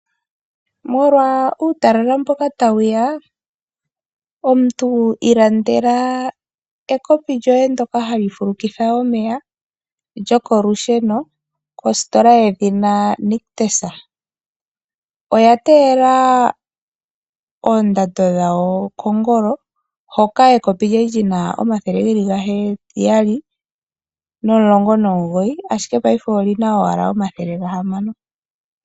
Molwa uutalala mboka tawu ya omuntu ilandela ekopi lyoye ndyoka hali fulukitha omeya lyokolusheno koositola yedhina Nictus. Oya teela oondando dhowo kongolo hoka ekopi lyawo kwali lyina omathele gaheyali nomilongo noogoyi ashike paife olyina owala omathele gahamano.